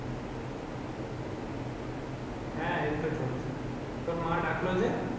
হ্যাঁ এই তো চলছে। তুর মা ডাকল যে?